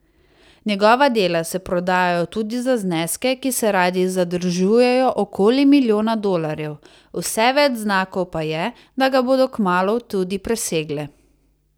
Njegova dela se prodajajo tudi za zneske, ki se radi zadržujejo okoli milijona dolarjev, vse več znakov pa je, da ga bodo kmalu tudi presegle.